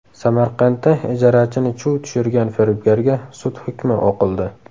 Samarqandda ijarachini chuv tushirgan firibgarga sud hukmi o‘qildi.